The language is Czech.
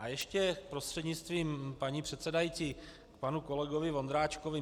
A ještě prostřednictvím paní předsedající panu kolegovi Vondráčkovi.